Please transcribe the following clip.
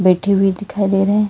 बैठे हुए दिखाई दे रहे हैं।